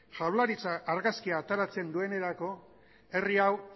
jaurlaritza argazkia ateratzen duenerako herri hau